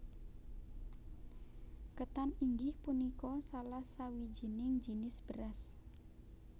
Ketan inggih punika salah sawijining jinis beras